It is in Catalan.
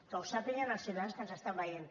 que ho sàpiguen els ciutadans que ens estan veient